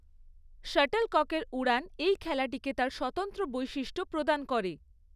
শাটলককের উড়ান এই খেলাটিকে তার স্বতন্ত্র বৈশিষ্ট্য প্রদান করে।